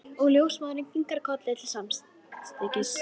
Sýnir henni bláan samfesting sem tvær bekkjarsystur færðu henni.